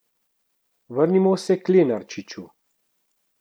Vrnimo se k Lenarčiču.